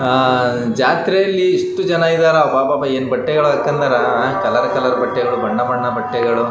ಅಅ ಜಾತ್ರೆಗಳ್ಳಲ್ಲಿ ಎಷ್ಟೊಂದು ಜನ ಇದ್ದಾರಾ ಅಬ್ಬಾ ಅಬ್ಬಾ ಏನ್ ಬಟ್ಟೆಗಳನ್ನ ಹಾಕಂದರ ಏನ್ ಬಟ್ಟೆಗಳು ಕಲರ್ ಕಲರ್ ಬಟ್ಟೆಗಳು.